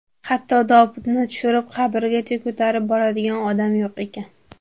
Hatto tobutni tushirib qabrgacha ko‘tarib boradigan odam yo‘q ekan.